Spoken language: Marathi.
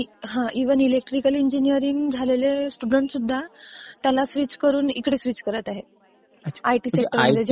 इव्हन इलेक्ट्रिकल इंजिनीरिंग झालेले स्टुडंट्स सुद्धा त्याला स्विच करून इकडे स्विच करत आहेत. आयटी सेक्टरमध्ये...